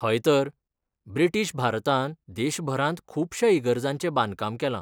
हय तर. ब्रिटीश भारतान देशभरांत खूबश्या इगर्जांचें बांदकाम केलां.